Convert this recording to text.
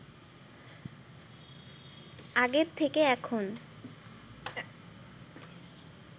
আগের থেকে এখন